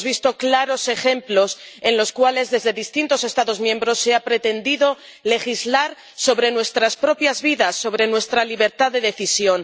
Hemos visto claros ejemplos en los cuales desde distintos Estados miembros se ha pretendido legislar sobre nuestras propias vidas, sobre nuestra libertad de decisión.